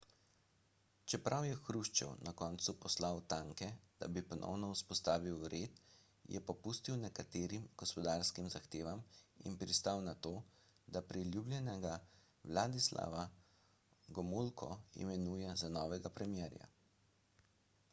čeprav je hruščov na koncu poslal tanke da bi ponovno vzpostavil red je popustil nekaterim gospodarskim zahtevam in pristal na to da priljubljenega vladislava gomulko imenuje za novega premierja